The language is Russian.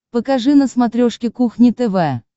покажи на смотрешке кухня тв